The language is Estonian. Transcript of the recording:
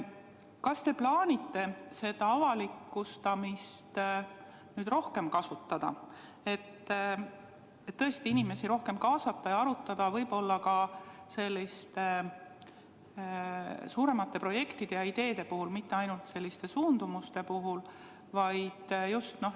Kas te plaanite avalikustamist rohkem kasutada, tõesti inimesi rohkem kaasata ja arutada ka selliseid suuremaid projekte ja ideid, mitte ainult suundumusi?